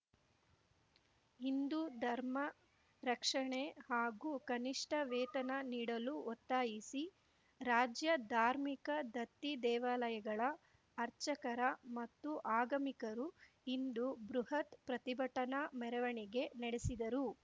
ಹಿಂದು ಧರ್ಮ ರಕ್ಷಣೆ ಹಾಗೂ ಕನಿಷ್ಟ ವೇತನ ನೀಡಲು ಒತ್ತಾಯಿಸಿ ರಾಜ್ಯ ಧಾರ್ಮಿಕ ದತ್ತಿ ದೇವಾಲಯಗಳ ಅರ್ಚಕರ ಮತ್ತು ಆಗಮಿಕರು ಇಂದು ಬೃಹತ್ ಪ್ರತಿಭಟನಾ ಮೆರವಣಿಗೆ ನಡೆಸಿದರು